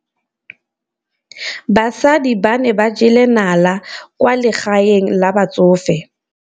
Basadi ba ne ba jela nala kwaa legaeng la batsofe.